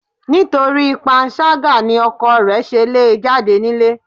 Nítorí panṣágà ni ọkọ rẹ̀ ṣe le jáde nílé.